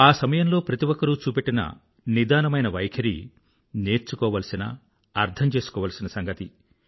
ఆ సమయంలో ప్రతి ఒక్కరూ చూపెట్టిన నిదానమైన వైఖరి నేర్చుకోవాల్సిన అర్థంచేసుకోవాల్సిన సంగతి